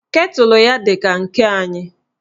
Ketụlụ ya dị ka nke anyị